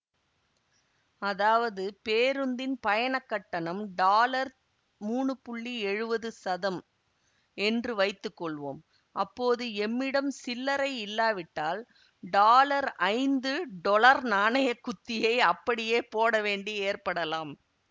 அதாவது பேரூந்தின் பயணக் கட்டணம் டாலர் மூனு புள்ளி எழுவது சதம் என்று வைத்துக்கொள்வோம் அப்போது எம்மிடம் சில்லைரை இல்லாவிட்டால் டாலர் ஐந்து டொலர் நாணய குத்தியை அப்படியே போடவேண்டி ஏற்படலாம்